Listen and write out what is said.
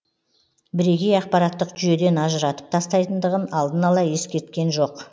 бірегей ақпараттық жүйеден ажыратып тастайтындығын алдын ала ескерткен жоқ